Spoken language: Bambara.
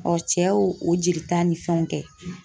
cɛ y'o o jelita ni fɛnw kɛ